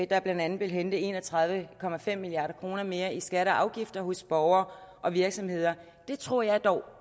der blandt andet vil hente en og tredive milliard kroner mere i skatter og afgifter hos borgere og virksomheder jeg tror dog